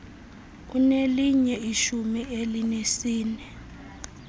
unelinye ishumi elinesine